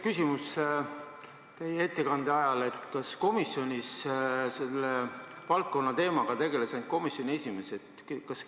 Mul tekkis teie ettekande ajal küsimus: kas komisjonis tegeles selle valdkonna teemaga ainult komisjoni esimees?